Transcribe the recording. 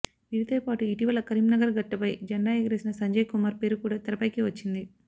వీరితోపాటు ఇటీవల కరీంనగర్ గడ్డపై జెండా ఎగరేసిన సంజయ్ కుమార్ పేరు కూడా తెరపైకి వచ్చింది